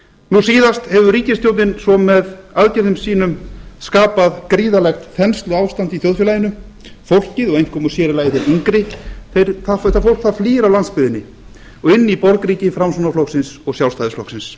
nú síðast hefur ríkisstjórnin svo með aðgerðum sínum skapað gríðarlegt þensluástand í þjóðfélaginu fólkið og einkum og sér í lagi þeir yngri flýr af landsbyggðinni og inn í borgríki framsóknarflokksins og sjálfstæðisflokksins